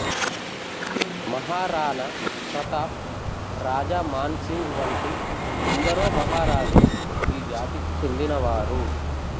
మహారాణా ప్రతాప్ రాజా మాన్ సింగ్ వంటి ఎందరో మహారాజులు ఈ జాతికి చెందినవారు